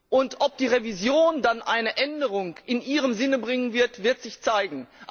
Und ob die Revision dann eine Änderung in ihrem Sinne bringen wird, wird sich zeigen.